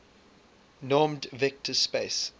normed vector space